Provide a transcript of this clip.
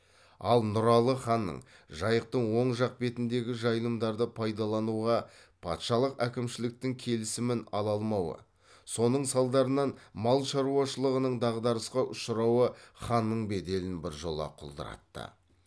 ал нұралы ханның жайықтың оң жақ бетіндегі жайылымдарды пайдалануға патшалык әкімшіліктің келісімін ала алмауы соның салдарынан мал шаруашылығының дағдарысқа ұшырауы ханның беделін біржола құлдыратты